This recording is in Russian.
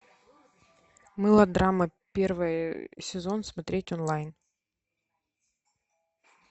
мылодрама первый сезон смотреть онлайн